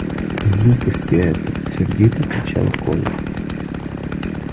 глупости это сердито кричал коля